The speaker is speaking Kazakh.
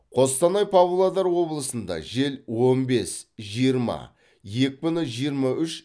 қостанай павлодар облысында жел он бес жиырма екпіні жиырма үш